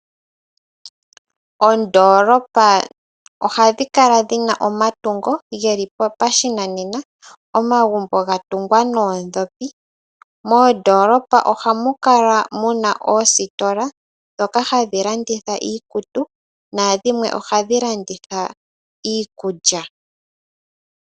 Oondolopa ohadhi kala dhi na omatungo ge li pashinanena, omagumbo ga tungwa noodhopi. Moondolopa ohamu kala muna oositola dhoka hadhi landitha iikutu, na dhimwe ohadhi landitha iikulya.